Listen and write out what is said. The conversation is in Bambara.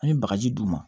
An ye bagaji d'u ma